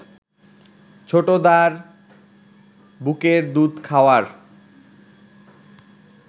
ছোটদার বুকের দুধ খাওয়ার